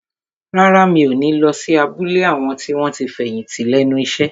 Rárá, mi ò ní lọ sí abúlé àwọn tí wọ́n ti fẹ̀yìntì lẹ́nu iṣẹ́